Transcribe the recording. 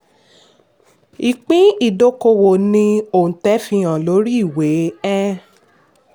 ìpín ìdókòwò ní oǹtẹ̀ fi hàn lórí ìwé. um